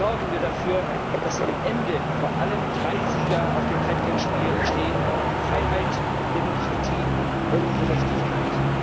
Sorgen wir dafür, dass am Ende vor allem drei Sieger auf dem Treppchen stehen Freiheit, Demokratie und Gerechtigkeit.